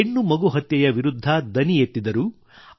ಹೆಣ್ಣು ಮಗು ಹತ್ಯೆಯ ವಿರುದ್ಧ ದನಿ ಎತ್ತಿದರು